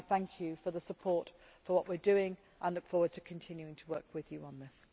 I thank you for the support for what we are doing and look forward to continuing to work with you on this.